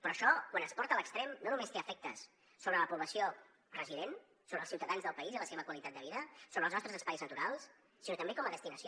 però això quan es porta a l’extrem no només té efectes sobre la població resident sobre els ciutadans del país i la seva qualitat de vida sobre els nostres espais naturals sinó també com a destinació